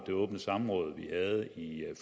det åbne samråd vi havde i